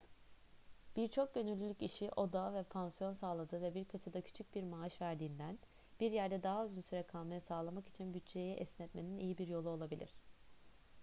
birçok gönüllülük işi oda ve pansiyon sağladığı ve birkaçı da küçük bir maaş verdiğinden bir yerde daha uzun süre kalmayı sağlamak için bütçeyi esnetmenin iyi bir yolu olabilir